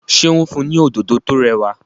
ṣe o n fun ní Òdòdó tó rẹwà?